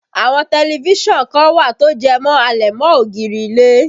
Àwọn tẹlifísàn kan wà tó jẹ́ àlẹ̀mọ́-ògiri ilé